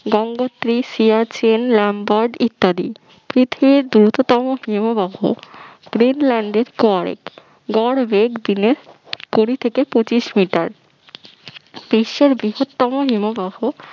Gangotri Siachen Lambert ইত্যাদি পৃথিবীর দীর্ঘতম হিমবাহ গ্রিনল্যান্ডের পরে গড়বেগ দিনে কুড়ি থেকে পচিশ মিটার বিশ্বের বৃহত্তম হিমবাহ